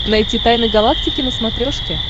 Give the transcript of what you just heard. найти тайны галактики на смотрешке